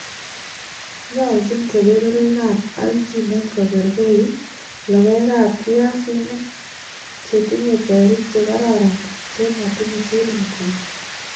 nyoljin kebeberwekap aljinet kogergeit logoekap piasinik, che tinnye berik che kararan che matinyei siring'ut